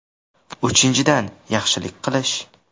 Uchinchidan, yaxshilik qilish.